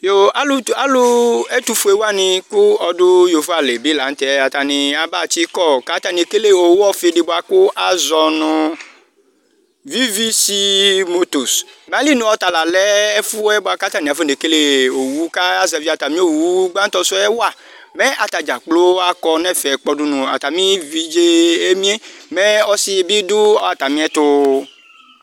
alʋ ɛtʋƒʋewani kʋ ɔdʋ yovoalibi lanʋtɛ atani abatsikɔ kʋ atani ekele owʋ ɔƒiidi kʋ azɔnʋ NA mayilinʋ ɔtalalɛ ɛƒʋɛbʋaka ƒɔnekele owʋ kaya zɛvi atami owʋ gbantɔsʋɛ wa mɛatadza kplo akɔnɛƒɛ kpodʋ nʋ atami evidze mɛ ɔsibidʋ atamiɛtʋ